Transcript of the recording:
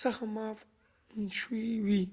څخه معاف شوي وي